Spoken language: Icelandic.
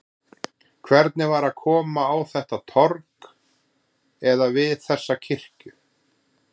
Hvernig var að koma á þetta torg, eða við þessa kirkju?